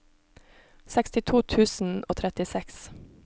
sekstito tusen og trettiseks